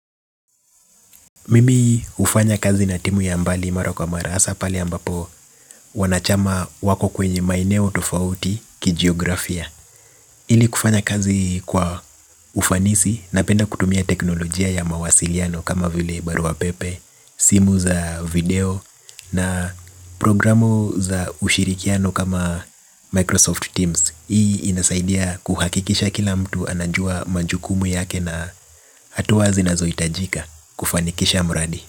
Mimi hufanya kazi na timu ya mbali mara kwa mara hasa pale ambapo wanachama wako kwenye maeneo tofauti kijiografia hili kufanya kazi hii kwa ufanisi napenda kutumia teknolojia ya mawasiliano kama vile barua pepe simu za video na programu za ushirikiano kama Microsoft Teams. Hii inasaidia kuhakikisha kila mtu anajua majukumu yake na hatua zinazohitajika kufanikisha mradi.